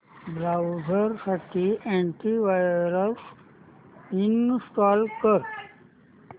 browser साठी antivirus install कर